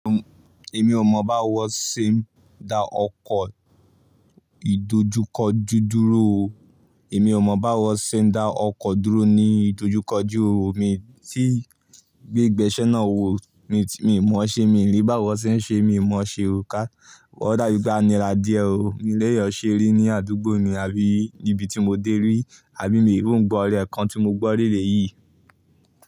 Èmi ò mọ̀ báwo ṣe ń da ọkọ̀ ìdojúkọjú dúró o. Èmi ò mọ̀ báwo ṣe ń da ọkọ̀ dúró ní ìdojúkọjú o. Èmi tí gbé ìgbésẹ́ náà wò, mi, mi mọ̀ ṣe, mi ò lè báwo ṣe ń ṣe, mi mọ̀ ṣe o ká. O dàbí pe a nira díẹ̀ o. Mi lè è ọ́ ṣe rí ní àdúgbò mi àbí níbi tí mo dé rí, àbí mi ò hún gbọ́ ọ̀rẹ́ kan tí mo gbọ́ re yìí.